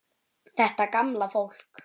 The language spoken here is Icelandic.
Þetta gamla fólk.